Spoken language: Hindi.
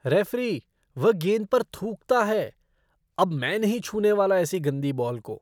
रेफ़री, वह गेंद पर थूकता है। अब मैं नहीं छूने वाला ऐसी गंदी बॉल को।